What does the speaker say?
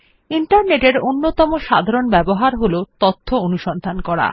internet এর অন্যতম সাধারণ ব্যবহার হল তথ্য অনুসন্ধান করা